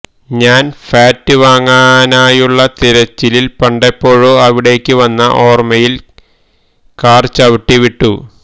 ഞാന് ഫാറ്റ് വാങ്ങാനായുള്ള തിരച്ചിലില് പണ്ടെപ്പോഴോ അവിടേക്ക് വന്ന ഓര്മ്മയില് കാര് ചവട്ടി വിട്ടു